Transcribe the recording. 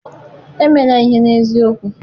emela ihe n'eziokwu!